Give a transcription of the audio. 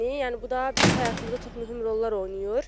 Yəni bu da bizim həyatımızda çox mühüm rollar oynayır.